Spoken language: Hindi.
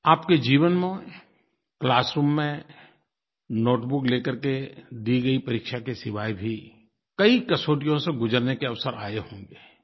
आपके जीवन में क्लासरूम में नोटबुक ले करके दी गई परीक्षा के सिवाय भी कई कसौटियों से गुज़रने के अवसर आए होंगे